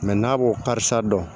n'a b'o kari sisan dɔn